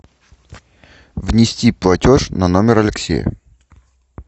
внести платеж на номер алексея